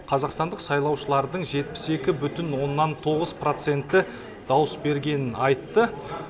қазақстандық сайлаушылардың жетпіс екі бүтін оннан тоғыз проценті дауыс бергенін айтты